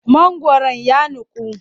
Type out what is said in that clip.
Mangwaron ya nuku.